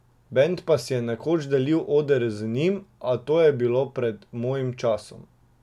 Bend pa si je nekoč delil oder z njim, a to je bilo pred mojim časom.